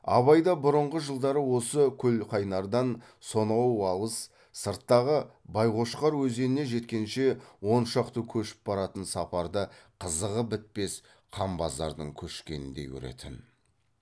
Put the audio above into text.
абай да бұрынғы жылдар осы көлқайнардан сонау алыс сырттағы байқошқар өзеніне жеткенше он шақты көшіп баратын сапарды қызығы бітпес қанбазардың көшкеніндей көретін